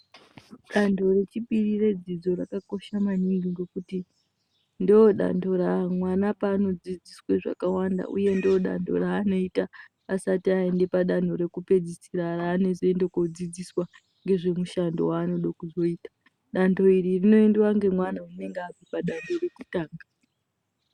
Dando rechipiri redzidzo rakakosha maningi ngekuti ndodando mwana paanodzidziswe zvakawanda uye ndodando raanoita asati aende padando rekupedzisira raanozoinde kundodzidziswa ngezvemushando waanode kuzoite. Dando iri inoindiwe ngemwana unenge apedza dando rekutanga.